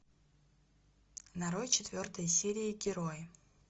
нарой четвертая серия герои